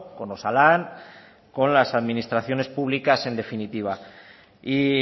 con osalan con las administraciones públicas en definitiva y